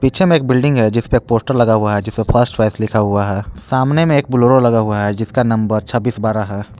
Picture में एक building है जिस पे एक पोस्टर लगा हुआ है जिस पे फर्स्ट चॉइस लिखा हुआ है सामने में एक बोलोरो लगा हुआ है जिसका नंबर छब्बीस बारह है।